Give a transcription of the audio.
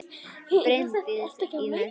Bryndís í næstu stofu!